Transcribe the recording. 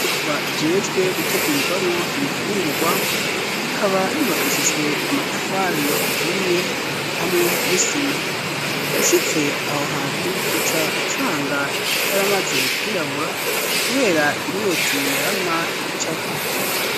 Inyubakwa ijejwe gutegurirwamwo ibifungurwa. Ikaba yubakishijwe amatafari aturiye hamwe n'isima. Ushitse aho hantu, uca usanga yaramaze kwirabura kubera imyotsi yama icako.